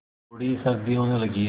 अब थोड़ी सर्दी होने लगी है